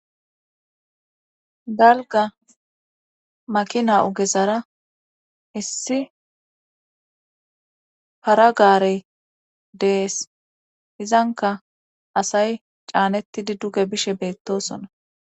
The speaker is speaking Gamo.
dalga makina ugezara issi paragaarey dees izanka asay caanettidi duge bishe beettosona.